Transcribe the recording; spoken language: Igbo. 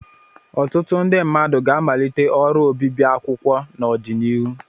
Ọtụtụ ndị mmadụ ga-amalite ọrụ obibi akwụkwọ n'ọdịnihu.